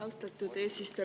Austatud eesistuja!